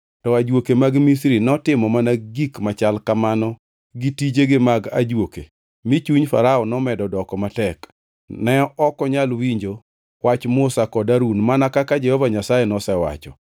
To ajuoke mag Misri notimo mana gik machal kamano gi tijegi mag ajuoke mi chuny Farao nomedo doko matek; ne ok onyal winjo wach Musa kod Harun mana kaka Jehova Nyasaye nosewacho.